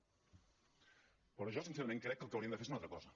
però jo sincerament crec que el que haurien de fer és una altra cosa